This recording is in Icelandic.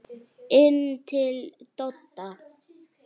Inn til Dodda.